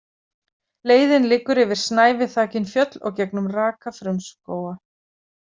Leiðin liggur yfir snæviþakin fjöll og gegnum raka frumskóga.